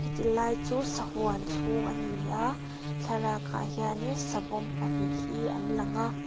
ti lai chu sahuan chhung a ni a thlalakah hianin savawm pahnih hi an lang a.